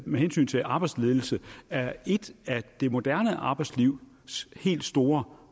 med hensyn til arbejdsledelse er et af det moderne arbejdslivs helt store